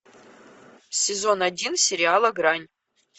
сезон один сериала грань